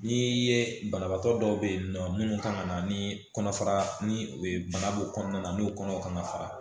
N'i y'i ye banabaatɔ dɔw bɛ yen nɔ minnu kan ka na ni kɔnɔfara ni bana b'u kɔnɔna na n'o kɔnɔ kan ka fara